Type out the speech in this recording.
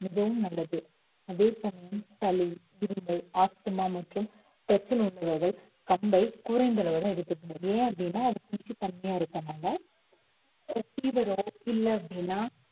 மிகவும் நல்லது அதே சமயம் சளி, இருமல், ஆஸ்துமா மற்றும் பிரச்சனை உள்ளவர்கள் கம்பை குறைந்த அளவு தான் எடுத்துக்கணும் ஏன் அப்படின்னா, அது குளிர்ச்சி தன்மையா இருக்கறதுனால ஒரு fever ஓ இல்லை அப்படின்னா